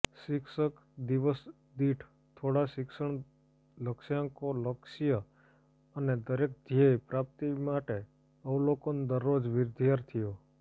શિક્ષક દિવસ દીઠ થોડા શિક્ષણ લક્ષ્યાંકો લક્ષ્ય અને દરેક ધ્યેય પ્રાપ્તિ માટે અવલોકન દરરોજ વિદ્યાર્થીઓ